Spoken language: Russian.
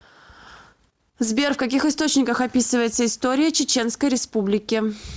сбер в каких источниках описывается история чеченской республики